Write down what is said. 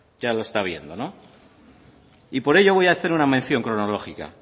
ya lo está viendo no y por ello voy a hacer una mención cronológica